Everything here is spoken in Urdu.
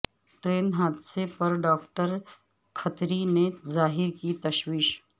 ٹرین حادثے پر ڈاکٹر کھتری نے ظاہر کی تشویش